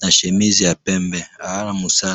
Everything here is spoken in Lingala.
na chemise ya pembe aza na musala